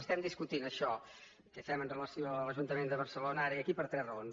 estem discutint això què fem amb relació a l’ajuntament de barcelona ara i aquí per tres raons